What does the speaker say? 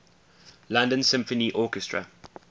london symphony orchestra